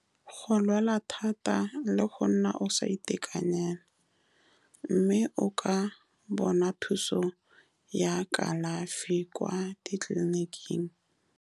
Go lwala thata le go nna o sa itekanela, mme o ka bona thuso ya kalafi kwa ditleliniking.